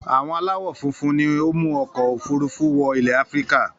Àwọn aláwọ̀ funfun ni ó mú ọkọ̀-òfurufú wọ ilẹ̀ Áfíríkà.